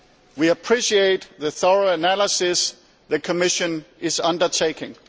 We appreciate the thorough analysis the Commission is undertaking.